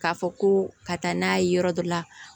K'a fɔ ko ka taa n'a ye yɔrɔ dɔ la